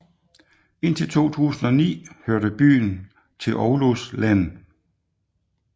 Indtil 2009 hørte byen til Oulus len